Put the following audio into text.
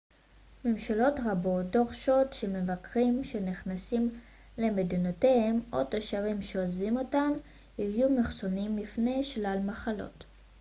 ממשלות רבות דורשות שהמבקרים שנכנסים למדינותיהם או תושבים שעוזבים אותן יהיו מחוסנים מפני שלל מחלות